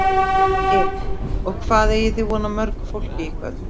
Elín: Og hvað eigið þið von á mörgu fólki í kvöld?